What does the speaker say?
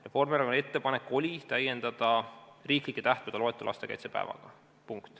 Reformierakonna ettepanek oli täiendada riiklike tähtpäevade loetelu lastekaitsepäevaga.